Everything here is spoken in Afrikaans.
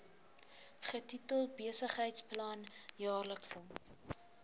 getitel besigheidsplan jaarlikse